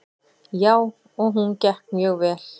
Jú, og hún gekk mjög vel.